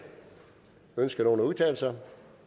ønsker nogen at udtale sig